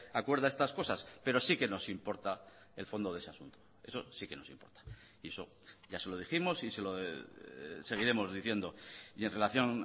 acuerda estas cosas pero sí que nos importa el fondo de ese asunto eso sí que nos importa y eso ya se lo dijimos y se lo seguiremos diciendo y en relación